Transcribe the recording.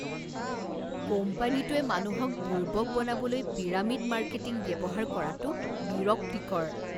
কোম্পানীটোৱে মানুহক বুৰ্বক বনাবলৈ পিৰামিড মাৰ্কেটিং ব্যৱহাৰ কৰাটো বিৰক্তিকৰ।